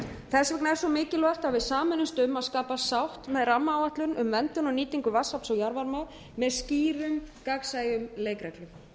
þess vegna er svo mikilvægt að við sameinumst um að skapa sátt með rammaáætlun um verndun og nýtingu vatnsafls og jarðvarma með skýrum gagnsæjum leikreglum